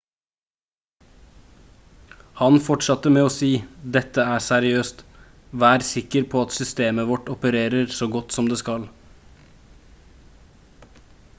han fortsatte med å si: «dette er seriøst. vær sikker på at systemet vårt opererer så godt som det skal»